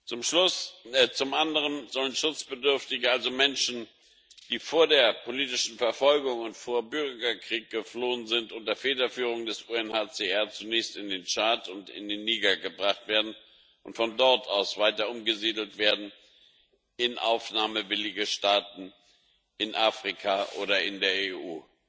Zum anderen sollen Schutzbedürftige, also Menschen, die vor politischer Verfolgung und vor Bürgerkrieg geflohen sind, unter Federführung des UNHCR zunächst in den Tschad und in den Niger gebracht werden und von dort aus weiter umgesiedelt werden in aufnahmewillige Staaten in Afrika oder in der EU.